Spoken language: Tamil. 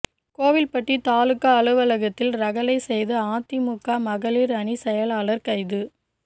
கோவில்பட்டி தாலுகா அலுவலகத்தில் ரகளை செய்த அதிமுக மகளிர் அணி செயலாளர் கைது